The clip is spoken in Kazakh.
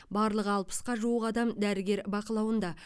барлығы алпысқа жуық адам дәрігер бақылауында